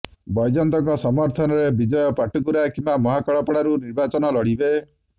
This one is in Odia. ବୈଜୟନ୍ତଙ୍କ ସମର୍ଥନରେ ବିଜୟ ପାଟକୁରା କିମ୍ବା ମହାକାଳପଡାରୁ ନିର୍ବାଚନ ଲଢିବେ